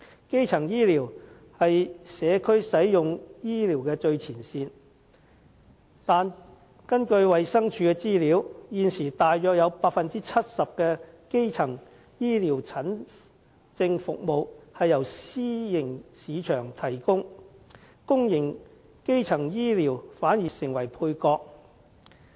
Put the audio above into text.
基層醫療是社區使用醫療的最前線，但根據衞生署的資料，現時約有 70% 的基層醫療診症服務由私營市場提供，公營基層醫療反而成為配角。